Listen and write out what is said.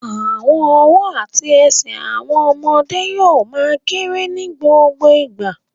Àwọn ọwọ́ àti ẹsẹ̀ àwọn ọmọdé yóò ma kérè ní gbogbo ìgbà